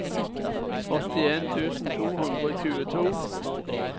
åttien tusen to hundre og tjueto